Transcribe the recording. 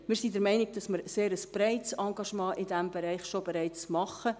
Wir sind der Meinung, dass wir in diesem Bereich bereits ein sehr breites Engagement haben.